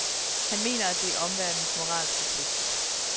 Han mener, at det er omverdenens moralske pligt.